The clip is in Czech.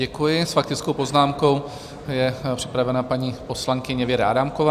Děkuji, s faktickou poznámkou je připravena paní poslankyně Věra Adámková.